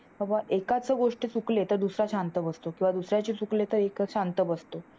बाबा एकाची गोष्ट चुकले तर दुसरा शांत बसतो किंवा दुसऱ्याची चुकले तर एक शांत बसतो.